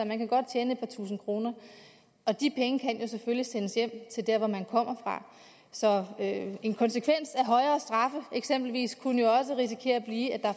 kan godt tjene et par tusinde kroner de penge kan selvfølgelig sendes hjem til der hvor man kommer fra så en konsekvens af eksempelvis kunne jo også risikere at blive at